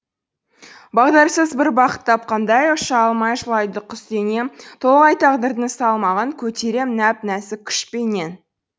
бағдарсыз бір бақыт тапқандай ұша алмай жылайды құс денем толағай тағдырдың салмағын көтерем нәп нәзік күшпенен